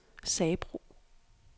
Sabro